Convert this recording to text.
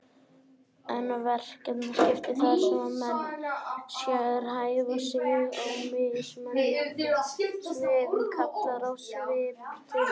En verkaskipting, þar sem menn sérhæfa sig á mismunandi sviðum, kallar á viðskipti.